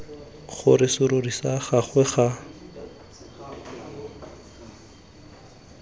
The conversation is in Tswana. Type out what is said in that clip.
gore serori sa gagwe ga